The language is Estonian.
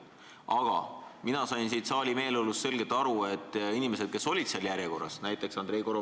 Aga mina sain saali meeleolust selgelt aru, et inimesed, kes olid seal järjekorras, ei soovi veel hääletada.